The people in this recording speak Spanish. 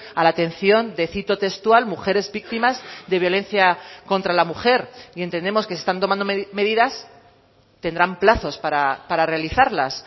a la atención de cito textual mujeres víctimas de violencia contra la mujer y entendemos que se están tomando medidas tendrán plazos para realizarlas